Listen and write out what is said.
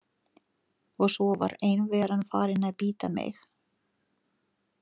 Og svo var einveran farin að bíta mig.